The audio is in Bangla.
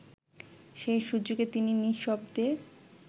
সেই সুযোগে তিনি নিঃশব্দে